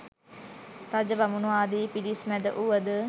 රජ බමුණු ආදී පිරිස් මැද වුවද